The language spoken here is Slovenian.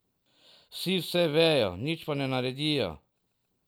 Vsi vse vejo, nič pa ne naredijo.